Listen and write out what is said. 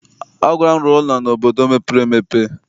Ọ gwara m, rụọ ụlọ n'obodo mepere emepe!